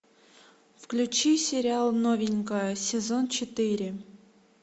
включи сериал новенькая сезон четыре